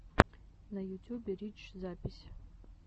на ютюбе рич запись